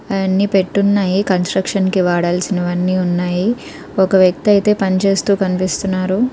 అవన్నీ పెట్టున్నాయి కన్స్ట్రక్షన్ కి వాడాల్సిన వన్నీ ఉన్నాయి. ఒక వ్యక్తి ఐతే పని చేస్తూ కనిపిస్తున్నారు.